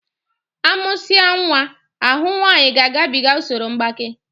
A mụsia nwa, ahụ nwaanyi ga-agabiga usoro mgbaké